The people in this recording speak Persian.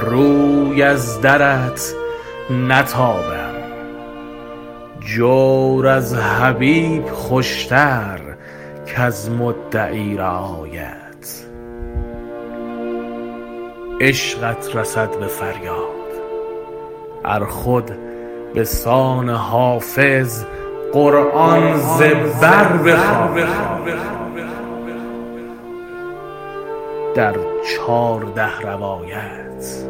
روی از درت نتابم جور از حبیب خوش تر کز مدعی رعایت عشقت رسد به فریاد ار خود به سان حافظ قرآن ز بر بخوانی در چارده روایت